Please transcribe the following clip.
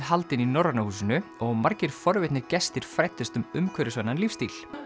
haldin í Norræna húsinu og margir forvitnir gestir fræddust um umhverfisvænan lífsstíl